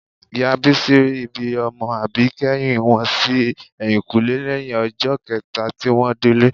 Ìyá Bísí ri ibi ọmọ àbíkẹ́yìn wọn sí ẹ̀yìnkùlẹ́ lẹ́yìn ọjọ́ kẹta tí wọ́n délé